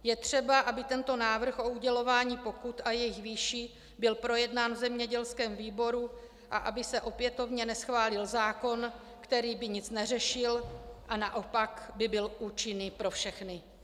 Je třeba, aby tento návrh o udělování pokut a jejich výši byl projednán v zemědělském výboru a aby se opětovně neschválil zákon, který by nic neřešil a naopak by byl účinný pro všechny.